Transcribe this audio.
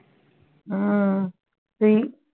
হম তুই